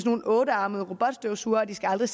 nogle ottearmede robotstøvsugere og at de aldrig